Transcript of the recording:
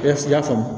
Eseke i y'a faamu